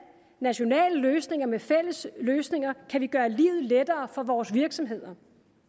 nationale løsninger med fælles løsninger kan vi gøre livet lettere for vores virksomheder